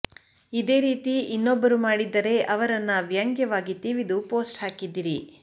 ಇದೇ ರೀತಿ ಇನ್ನೊಬ್ಬರು ಮಾಡಿದ್ದರೆ ಅವರನ್ನ ವ್ಯಂಗ್ಯವಾಗಿ ತಿವಿದು ಪೋಸ್ಟ್ ಹಾಕಿದ್ದಿರಿ